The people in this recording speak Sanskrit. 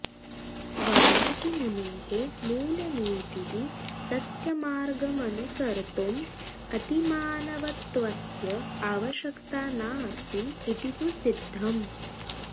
वाल्मीकिमुनेः मूलनीतिः सत्यमार्गमनुसर्तुं अतिमानवत्वस्य आवश्यकता नास्ति इति तु सिद्धम्